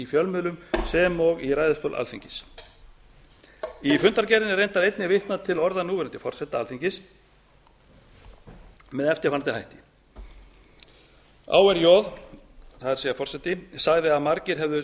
fjölmiðlum sem og í ræðustól alþingis í fundargerðinni er reyndar einnig vitnað til orða núverandi forseta alþingis með eftirfarandi hætti árj sagði að margir hefðu